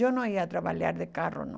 Eu não ia trabalhar de carro, não.